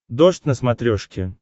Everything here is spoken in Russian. дождь на смотрешке